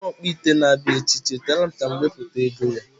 Onye ọkpụ ite na abịa echi, cheteerem ka mụ wepụta ego ya